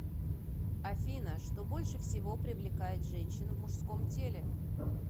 афина что больше всего привлекает женщин в мужском теле